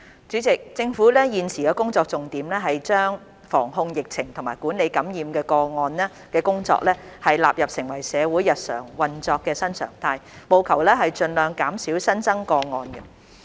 主席，政府現時的工作重點是把防控疫情和管理感染的工作納入成為社會日常運作的新常態，務求盡量減少新增個案。